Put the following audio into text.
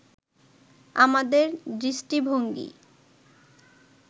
আমাদের দৃষ্টিভঙ্গী